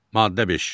Maddə 5.